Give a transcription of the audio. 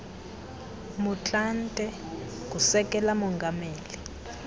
motlanthe ngusekela mongameli